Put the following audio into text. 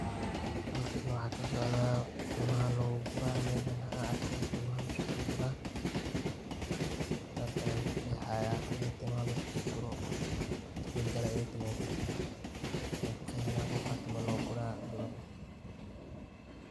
Halkan waxa ka socda, tiimaha lagu kura mejaan waxa aarko tiimaha la iskugu kura, sidhas ayaan ku qexaayaa in tiimaha la isku guuro, tiimo jire ee taaho mejaan sidha ku qexaayo qofka in tiimo lo ku raayo gabar ah.